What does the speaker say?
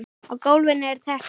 Á gólfinu er teppi.